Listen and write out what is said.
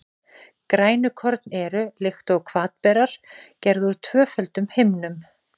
Grænukorn eru, líkt og hvatberar, gerð úr tvöföldum himnum.